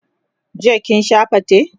jiya kin Sha fate?